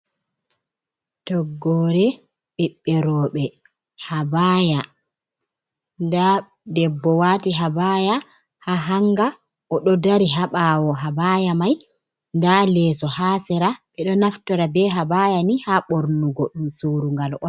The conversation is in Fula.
Toggore ɓiɓɓe roɓɓe habaya, nda debbo wati habaya ha hanga o ɗo dari ha ɓawo habaya mai bda leeso ha sera ɓe ɗo naftora be habaya ni ha ɓornugo ɗum surugal on.